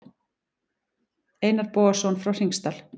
Einar Bogason frá Hringsdal.